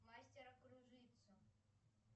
мастера кружицу